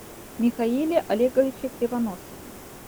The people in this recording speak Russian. михаиле олеговиче кривоносове